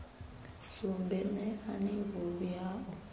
sumbe neani vhuvhi ha u